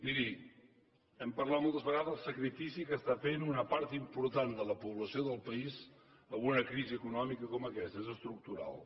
miri hem parlat moltes vegades del sacrifici que està fent una part important de la població del país amb una crisi econòmica com aquesta és estructural